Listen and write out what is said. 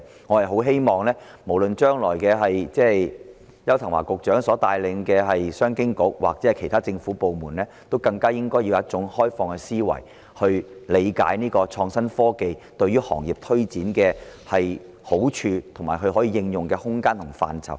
我希望將來無論是邱騰華局長所帶領的商務及經濟發展局或其他政府部門，應以開放的思維，理解創新科技對行業推展的好處，以及可以應用的空間及範疇。